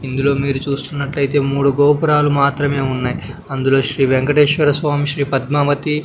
ఇందులో మీరు చూస్తున్నట్లయితే మూడు గోపురాలు మాత్రమే ఉన్నాయ్ అందులో శ్రీ వెంకటేశ్వర స్వామి శ్రీ పద్మావతి--